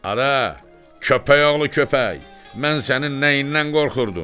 Adə, köpəyoğlu köpək, mən sənin nəyindən qorxurdum?